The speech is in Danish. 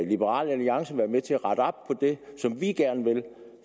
liberal alliance være med til at rette op på det ligesom vi gerne vil